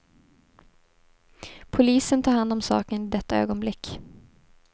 Polisen tar hand om saken i detta ögonblick.